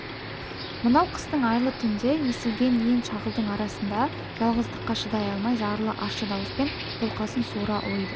мынау қыстың айлы түнінде есілген ен шағылдың арасында жалғыздыққа шыдай алмай зарлы ащы дауыспен қолқасын суыра ұлиды